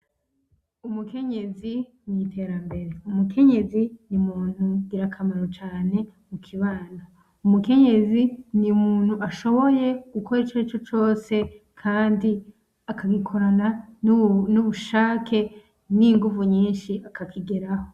Umukenyezi mw'iterambere, umukenyezi n'ingira kamaro cane mukibano, umukenyezi n'umuntu ashoboye gukora icarico cose kandi akagikorana n'ubushake n'inguvu nyinshi akakigeraho.